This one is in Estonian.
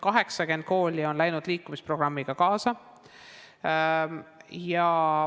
80 kooli on läinud liikumisprogrammiga kaasa.